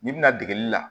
N'i bɛna degeli la